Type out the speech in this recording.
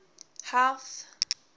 health